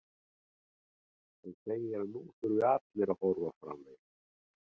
Hann segir að nú þurfi allir að horfa fram veginn.